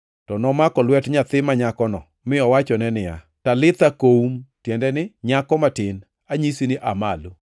To nomako lwet nyathi manyakono mi owachone niya, “ \+wj Talitha koum!”\+wj* (tiende ni, “Nyako matin, anyisi ni aa malo!”)